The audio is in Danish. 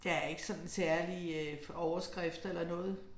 Der er ikke sådan særlige øh overskrifter eller noget